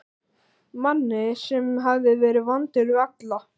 Manni sem hafði verið vondur við alla.